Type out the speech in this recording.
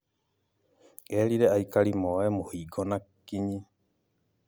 Erire aikari moe mũhingo na kinyi